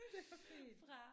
Det var fint